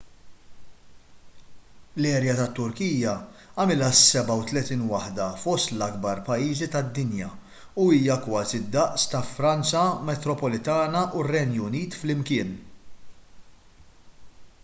l-erja tat-turkija tagħmilha s-37 waħda fost l-akbar pajjiżi tad-dinja u hija kważi d-daqs ta' franza metropolitana u r-renju unit flimkien